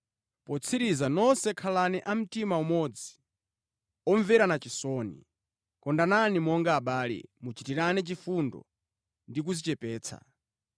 Potsiriza, nonse khalani a mtima umodzi, omverana chisoni. Kondanani monga abale, muchitirane chifundo ndi kudzichepetsa.